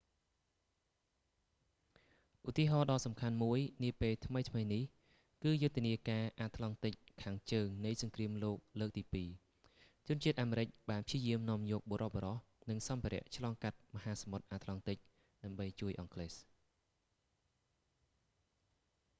ឧទាហរណ៍ដ៏សំខាន់មួយនាពេលថ្មីៗនេះ គឺយុទ្ធនាការអាត្លង់ទិកខាងជើងនៃសង្គ្រាមលោកលើកទីពីរ wwii ជនជាតិអាមេរិកបានព្យាយាមនាំយកបុរសៗ និងសម្ភារៈឆ្លងកាត់មហាសមុទ្រអាត្លង់ទិក ដើម្បីជួយអង់គ្លេស